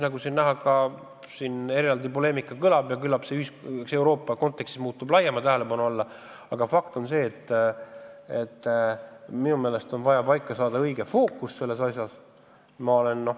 Nagu näha, selle üle eraldi poleemika käib ja küllap see Euroopa kontekstis satub laiema tähelepanu alla, aga fakt on see, et minu meelest on vaja selles asjas fookus õigesti paika saada.